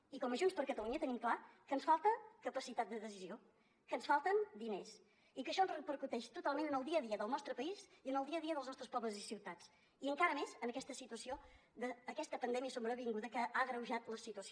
i com a junts per catalunya tenim clar que ens falta capacitat de decisió que ens falten diners i que això ens repercuteix totalment en el dia a dia del nostre país i en el dia a dia dels nostres pobles i ciutats i encara més en aquesta situació d’aquesta pandèmia sobrevinguda que ha agreujat la situació